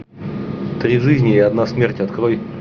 три жизни и одна смерть открой